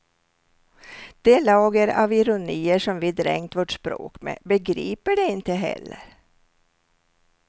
Det lager av ironier som vi dränkt vårt språk med begriper de inte heller.